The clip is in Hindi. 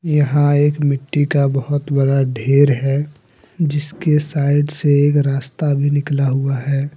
यहां एक मिट्टी का बहुत बड़ा ढेर है जिसके साइड से एक रास्ता भी निकला हुआ है।